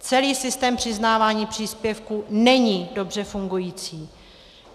Celý systém přiznávání příspěvků není dobře fungující.